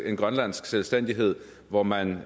en grønlandsk selvstændighed hvor man